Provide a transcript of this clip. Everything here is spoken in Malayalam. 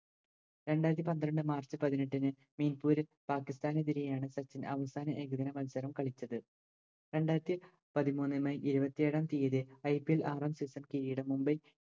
രണ്ടാരത്തിപന്ത്രണ്ട് March പതിനെട്ടിന് മിർപുർ പാകിസ്താനെതിരെയാണ് സച്ചിൻ അവസാന ഏകദിന മത്സരം കളിച്ചത് രണ്ടാരത്തി പതിമൂന്ന് May ഇരുപത്തേഴാം തിയ്യതി IPL ആറാം Season കിരീടം